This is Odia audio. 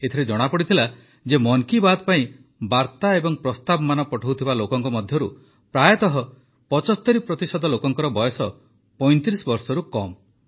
ଏଥିରେ ଜଣାପଡ଼ିଲା ଯେ ମନ୍ କି ବାତ୍ ପାଇଁ ବାର୍ତ୍ତା ଏବଂ ପ୍ରସ୍ତାବମାନ ପଠାଉଥିବା ଲୋକଙ୍କ ମଧ୍ୟରୁ ପ୍ରାୟତଃ ୭୫ ପ୍ରତିଶତ ଲୋକଙ୍କର ବୟସ ୩୫ ବର୍ଷରୁ କମ୍